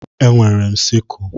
Enwere m siskle.